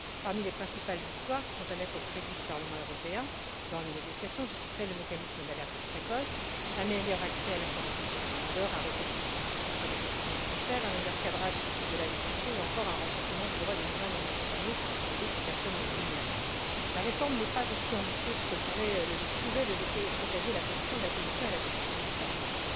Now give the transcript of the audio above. Parmi les principales victoires, qui sont à mettre au crédit du Parlement européen dans le cadre des négociations, je citerai le mécanisme d'alerte précoce, un meilleur accès à la formation pour les demandeurs, un recours suspensif contre les décisions de transfert, un meilleur cadrage de la détention, ou encore un renforcement des droits des mineurs non accompagnés et d'autres personnes vulnérables. La réforme n'est pas aussi ambitieuse que pouvait le laisser présager la position de la Commission et la position du Parlement.